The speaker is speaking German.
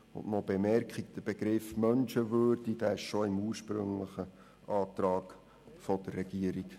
Noch folgende Bemerkung: Der Begriff «Menschenwürde» stand bereits im ursprünglichen Antrag der Regierung.